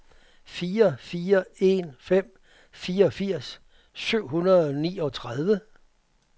fire fire en fem fireogfirs syv hundrede og niogtredive